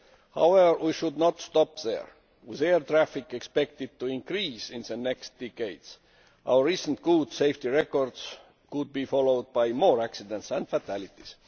However, we should not stop there. With air traffic expected to increase in future decades, our recent good safety record could be followed by more accidents and fatalities.